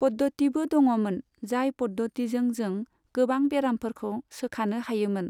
पद्दतिबो दङमोन, जाय पद्दतिजों जों गोबां बेरामफोरखौ सोखानो हायोमोन।